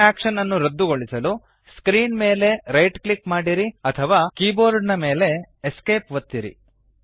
ಈ ಆಕ್ಶನ್ ನ್ನು ರದ್ದುಗೊಳಿಸಲು ಸ್ಕ್ರೀನ್ ಮೇಲೆ ರೈಟ್ ಕ್ಲಿಕ್ ಮಾಡಿರಿ ಅಥವಾ ಕೀಬೋರ್ಡ್ ಮೇಲಿನ Esc ಒತ್ತಿರಿ